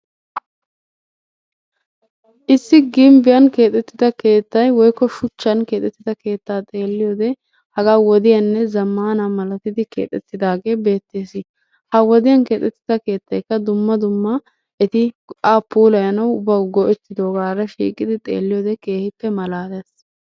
Issi gimbbiyan keexettida keettay woykko shuchchan keexettida keettaa xeelliyode hagaa wodiyanne zammaana malatidi keexettidaagee beettees. Ha wodiyan keexettida keettaykka dumma dumma eti go'aa puulayanawu bawu go'ettidoogaara shiiqidi xeelliyode keehippe malaalees.